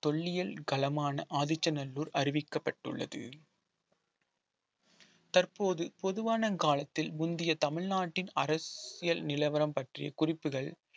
தொல்லியல் களமான ஆதிச்சநல்லூர் அறிவிக்கப்பட்டுள்ளது தற்போது பொதுவான காலத்தில் முந்தைய தமிழ்நாட்டின் அரசியல் நிலவரம் பற்றிய குறிப்புகள்